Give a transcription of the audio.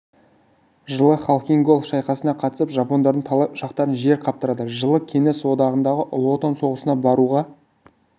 жылы халхин-гол шайқасына қатысып жапондардың талай ұшақтарын жер қаптырады жылы кеңес одағындағы ұлы отан соғысына баруға